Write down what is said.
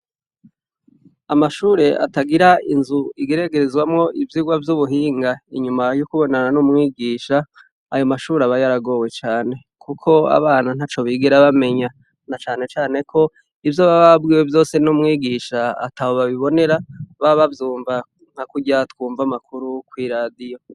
Amashure atagira inzu igeragezwa ivyirwa vyubuhinga inyuma yo kubonana numwigisha ayo mashure aba yaragowe cane kuko abana ntaco bigera bamenya nacanecane ko ivyo baba babwiye vyose numwigisha ataho babibonera baba bavyumva nkakurya twumva amakuru kwiradiyo